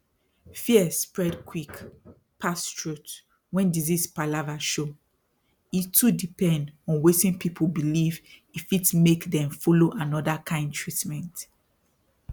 fear spread quick pass truth when disease palava show e too depend on wetin people believe e fit make dem follow another kind treatment